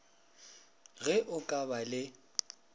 ge o ka ba le